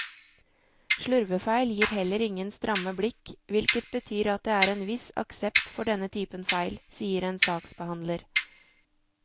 Slurvefeil gir heller ingen stramme blikk, hvilket betyr at det er en viss aksept for denne typen feil, sier en saksbehandler.